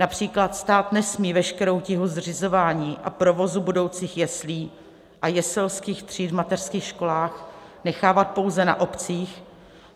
Například stát nesmí veškerou tíhu zřizování a provozu budoucích jeslí a jeselských tříd v mateřských školách nechávat pouze na obcích.